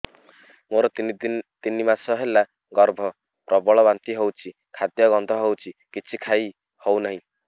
ମୋର ତିନି ମାସ ହେଲା ଗର୍ଭ ପ୍ରବଳ ବାନ୍ତି ହଉଚି ଖାଦ୍ୟ ଗନ୍ଧ ହଉଚି କିଛି ଖାଇ ହଉନାହିଁ